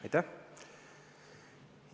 Aitäh!